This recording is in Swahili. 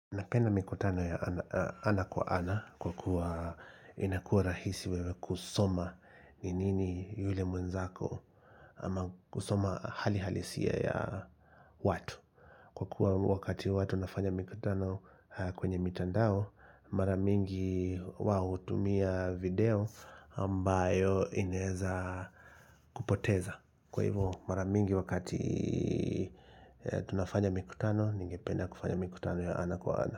Napenda mikutano ya ana ana kwa ana kwa kuwa inakua rahisi wewe kusoma ni nini yule mwenzako ama kusoma hali halisia ya watu kwa kuwa wakati huwa tunafanya mikutano kwenye mitandao maramingi wao hutumia video ambayo ineza kupoteza kwa hivo maramingi wakati tunafanya mikutano ningependa kufanya mikutano ya ana kwa ana.